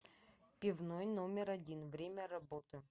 пивной номер один время работы